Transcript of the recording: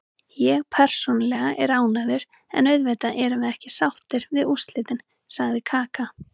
Ég persónulega er ánægður, en auðvitað erum við ekki sáttir við úrslitin, sagði Kaka.